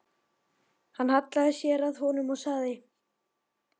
Hann hallaði sér að honum og sagði